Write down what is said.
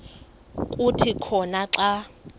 kuthi khona xa